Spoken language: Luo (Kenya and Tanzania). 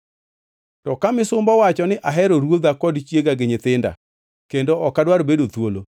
“To ka misumba owacho ni, ‘Ahero ruodha kod chiega gi nyithinda kendo ok adwar bedo thuolo,’